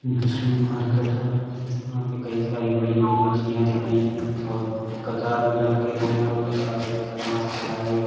मछली मार्केट है यहाँ पे कई सारी बड़ी -बड़ी मछलियाँ दिख रही हैं और कतार में रखे हुए हैं और कतार में मास्क लगाए हुए --